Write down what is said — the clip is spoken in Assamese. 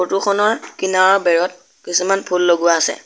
ফটো খনৰ কিনাৰৰ বেৰত কিছুমান ফুল লগোৱা আছে।